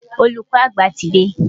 Olùkọ́ àgbà ti dé.